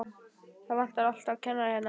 Það vantar alltaf kennara hérna.